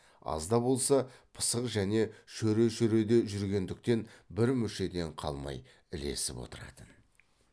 аз да болса пысық және шөре шөреде жүргендіктен бір мүшеден қалмай ілесіп отыратын